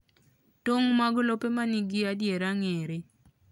Tong' mag lope ma nigi adiera ng'ere.